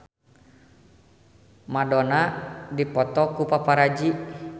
Madonna dipoto ku paparazi